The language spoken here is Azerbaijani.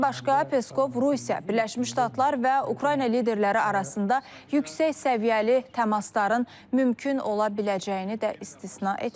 Bundan başqa, Peskov Rusiya, Birləşmiş Ştatlar və Ukrayna liderləri arasında yüksək səviyyəli təmasların mümkün ola biləcəyini də istisna etməyib.